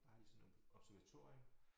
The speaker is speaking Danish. Der har de sådan noget observatorium